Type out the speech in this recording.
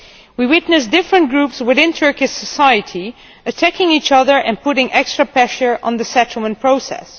We witness different groups within Turkish society attacking each other and putting extra pressure on the settlement process.